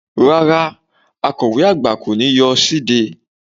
Rárá Akọ̀we àgbà kọ́ ni yóò ṣíde